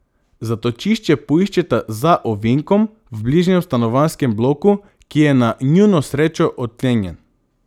Zatočišče poiščeta za ovinkom, v bližnjem stanovanjskem bloku, ki je na njuno srečo odklenjen.